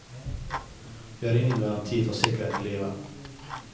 Vi har ingen garanti for sikkerhet i livet.